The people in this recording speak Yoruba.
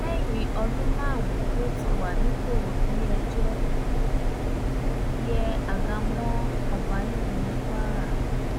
lẹ́yìn ọdún márùn-ún tó ti wà nípò ilé-ẹjọ́ yẹ àga mọ́ ọba nídìí ní kwara